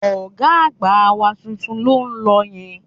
Ọ̀gá àgbà wa tuntun ló ń lọ yẹn